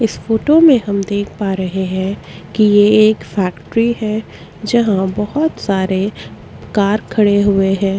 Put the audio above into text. इस फोटो में हम देख पा रहे है की ये एक फैक्ट्री है जहाँ बहोत सारे कार खड़े हुए है।